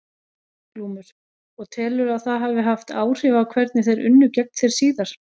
Glúmur: Og telurðu að það hafi haft áhrif á hvernig þeir unnu gegn þér síðar?